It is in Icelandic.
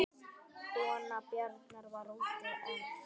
Kona Bjarnar var úti en